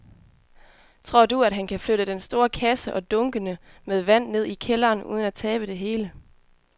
Tror du, at han kan flytte den store kasse og dunkene med vand ned i kælderen uden at tabe det hele?